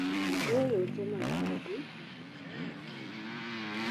ũndũ ũyũ ũtũmaga mĩri na nathangĩ.